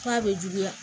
K'a bɛ juguya